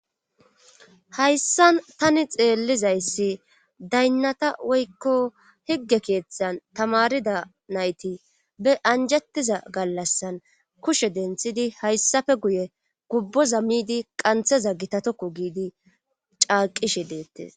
Hayssan tani xeellizayssi daynnata woykko higge keeththan tamarida nayti be anjettiza gallassan kushe denthidi hayssafe guye gubboza miidi qantheza gitatokku giidi caaqishe deettes.